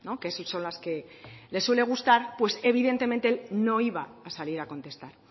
que son las que le suele gustar pues evidentemente no iba a salir a contestar